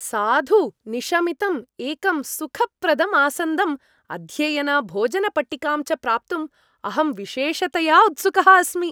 साधु निशमितम् एकं सुखप्रदं आसन्दं, अध्ययनभोजनपट्टिकां च प्राप्तुम् अहम् विशेषतया उत्सुकः अस्मि।